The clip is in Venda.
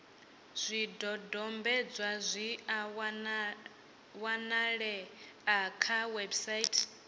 zwidodombedzwa zwi a wanalea kha website